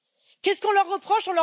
Qu'est ce qu'on leur reproche?